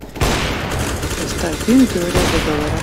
поставь фильм теория заговора